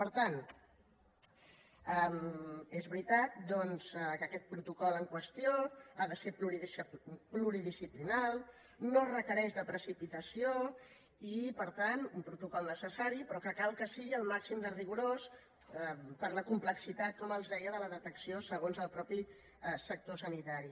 per tant és veritat doncs que aquest protocol en qüestió ha de ser pluridisciplinari no requereix precipitació i per tant un protocol necessari però que cal que sigui al màxim de rigorós per la complexitat com els deia de la detecció segons el mateix sector sanitari